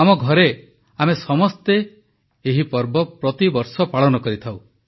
ଆମ ଘରେ ଆମେ ସମସ୍ତେ ଏହି ପର୍ବ ପ୍ରତି ବର୍ଷ ପାଳନ କରିଥାଉ